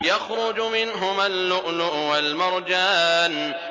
يَخْرُجُ مِنْهُمَا اللُّؤْلُؤُ وَالْمَرْجَانُ